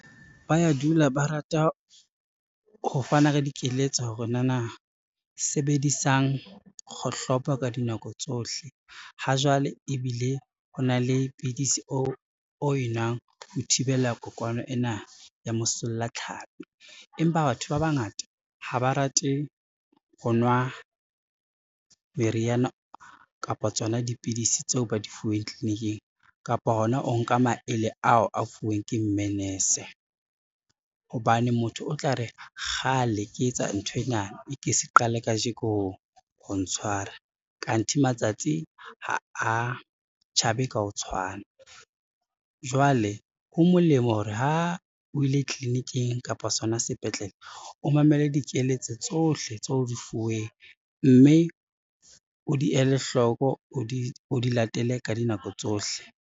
Ba ya dula ba rata ho fana ka dikeletso hore nana sebedisang kgohlopo ka dinako tsohle, ha jwale ebile o na le pidisi o e nwang ho thibela kokwana ena ya mosollatlhapi, empa batho ba bangata ha ba rate ho nwa meriana kapa tsona dipidisi tseo ba di fuweng tliliniking, kapa hona o nka maele ao a fuweng ke mme nese hobane motho o tla re kgale ke etsa nthwena, e ke se qale kajeko ho ntshwara, kanthi matsatsi ha tjhabe ka ho tshwana. Jwale ho molemo hore ha o ile tliliniking kapa sona sepetlele, o mamele dikeletso tsohle tseo o di fuweng, mme o di ele hloko, o di latele ka dinako tsohle.